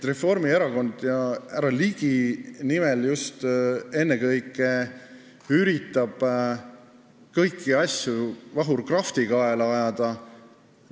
Reformierakond ja härra Ligi üritavad kõiki asju Vahur Krafti kaela ajada.